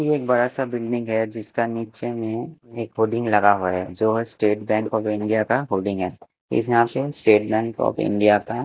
ये एक बड़ा सा बिल्डिंग है जिसका नीचे में एक होर्डिंग लगा हुआ है जो स्टेट बैंक ऑफ़ इंडिया का होर्डिंग है इस नाम से स्टेट बैंक ऑफ़ इंडिया का--